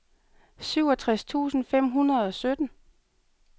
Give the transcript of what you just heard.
syvogtres tusind fem hundrede og sytten